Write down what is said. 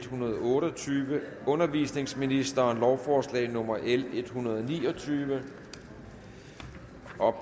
hundrede og otte og tyve undervisningsministeren lovforslag nummer l en hundrede og ni og tyve for